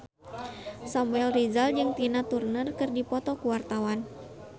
Samuel Rizal jeung Tina Turner keur dipoto ku wartawan